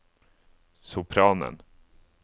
sopranen